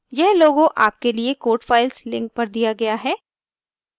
* यह logo आपके लिए code files link पर दिया गया है